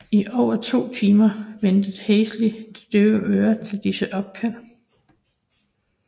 I over to timer vendte Halsey det døve øre til disse opkald